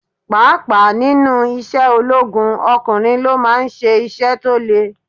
Pàápàá nínú isẹ́ ológun, ọkùnrin ló máa ń ṣe iṣẹ́ tó le.